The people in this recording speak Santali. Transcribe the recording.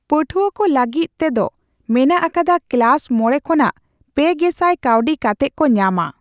ᱯᱟᱹᱴᱷᱣᱟᱹ ᱠᱚ ᱞᱟᱹᱜᱤᱫ ᱛᱮᱫᱚ ᱢᱮᱱᱟᱜ ᱟᱠᱟᱫᱟ ᱠᱮᱞᱟᱥ ᱢᱚᱲᱮ ᱠᱷᱚᱱᱟᱜ ᱯᱮ ᱜᱮᱥᱟᱭ ᱠᱟᱣᱰᱤ ᱠᱟᱛᱮᱜ ᱠᱚ ᱧᱟᱢᱟ ᱾